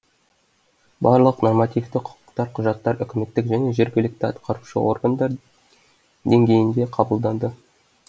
барлық нормативті құқықтық құжаттар үкіметтік және жергілікті атқарушы органдар деңгейінде қабылданды